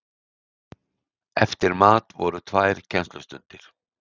Eftir mat voru tvær kennslustundir.